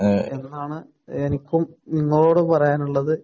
എന്നാണ് എനിക്കും നിങ്ങളോട് പറയാനുള്ളത്,